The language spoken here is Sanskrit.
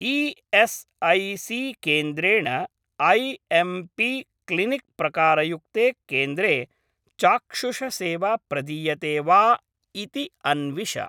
ई.एस्.ऐ.सी.केन्द्रेण ऐ.एम्.पी. क्लिनिक् प्रकारयुक्ते केन्द्रे चाक्षुषसेवा प्रदीयते वा इति अन्विष।